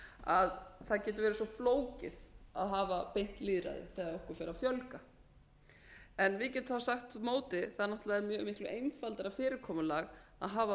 að það geti verið svo flókið að hafa beint lýðræði þegar okkur fer að fjölga við getum þá sagt á móti að það er mjög mikið einfaldara fyrirkomulag að hafa